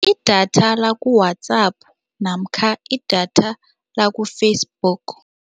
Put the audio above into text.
Idatha laku-WhatsApp namkha idatha laku-Facebook.